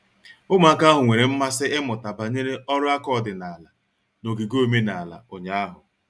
Ụmụaka ahụ nwere mmasị ịmụta banyere ọrụ aka ọdịnala n'ogige omenala ụnyahụ.